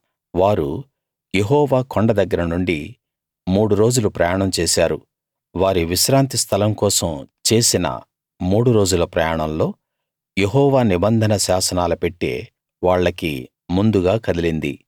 వారు యెహోవా కొండ దగ్గర నుండి మూడు రోజులు ప్రయాణం చేశారు వారి విశ్రాంతి స్థలం కోసం చేసిన మూడు రోజుల ప్రయాణంలో యెహోవా నిబంధన శాసనాల పెట్టె వాళ్లకి ముందుగా కదిలింది